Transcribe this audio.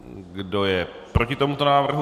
Kdo je proti tomuto návrhu?